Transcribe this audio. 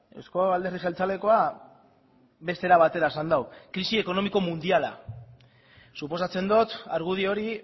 euzko alderdi jeltzalekoa beste era batera esan du krisi ekonomiko mundiala suposatzen dot argudio hori